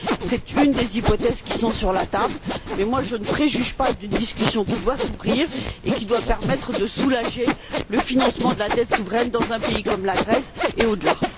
C'est une des hypothèses qui sont sur la table, mais je ne préjuge pas d'une discussion qui doit s'ouvrir et qui doit permettre de soulager le financement de la dette souveraine dans un pays comme la Grèce et au delà.